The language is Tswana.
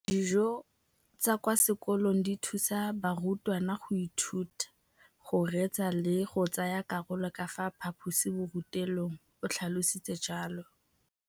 Dijo tsa kwa sekolong dithusa barutwana go ithuta, go reetsa le go tsaya karolo ka fa phaposiborutelong, o tlhalositse jalo.